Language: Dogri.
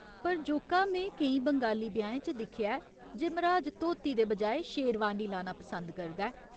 पर जोका, में केईं बंगाली ब्याहें च दिक्खेआ ऐ जे मर्‌हाज धोती दे बजाए शेरवानी लाना पसंद करदा ऐ।